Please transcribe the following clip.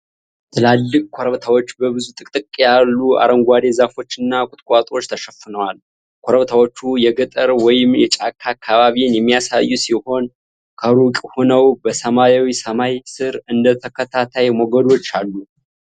ትላልቅ ኮረብታዎች በብዙ ጥቅጥቅ ያሉ አረንጓዴ ዛፎችና ቁጥቋጦዎች ተሸፍነዋል። ኮረብታዎቹ የገጠር ወይም የጫካ አካባቢን የሚያሳዩ ሲሆን፣ ከሩቅ ሆነው በሰማያዊ ሰማይ ስር እንደ ተከታታይ ሞገዶች አሉ።